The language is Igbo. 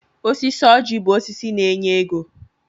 Osisi ọjị bụ osisi na-enye ego.